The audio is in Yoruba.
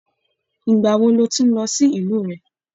Ìgbà wò ló tún n lọ sílù rẹ?